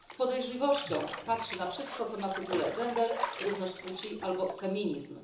Z podejrzliwością patrzy na wszystko, co ma w tytule gender, równość płci albo feminizm.